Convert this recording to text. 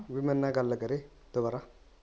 ਵੀ ਮੇਰੇ ਨਾਲ ਗੱਲ ਕਰੇ ਦੁਬਾਰਾ